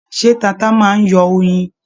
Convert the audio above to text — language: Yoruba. Ṣé tata máa n yọ oyin?